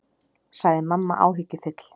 sagði mamma áhyggjufull.